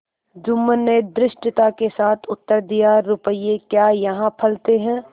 जुम्मन ने धृष्टता के साथ उत्तर दियारुपये क्या यहाँ फलते हैं